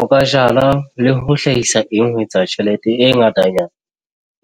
O ka jala le ho hlahisa eng ho etsa tjhelete e ngatanyana,